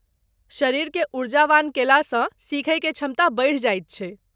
शरीर के ऊर्जावान कएलासँ सीखयकेँ क्षमता बढ़ि जाइत छै।